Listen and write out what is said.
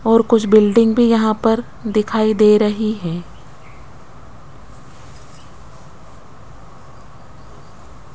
और कुछ बिल्डिंग भी यहां पर दिखाई दे रही हैं।